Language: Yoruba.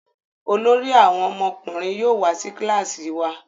Olórí àwọn ọmọkùnrin yóò wá sí kilasi wá.